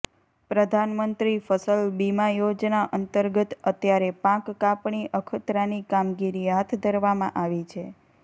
પ્રધાનમંત્રી ફસલ બીમા યોજના અંતર્ગત અત્યારે પાક કાપણી અખતરાની કામગીરી હાથ ધરવામાં આવી છે